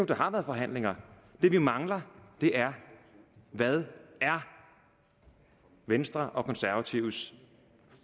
der har været forhandlinger det vi mangler er hvad venstres og konservatives